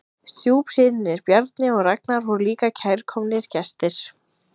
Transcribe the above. Stjúpsynirnir Bjarni og Ragnar voru líka kærkomnir gestir.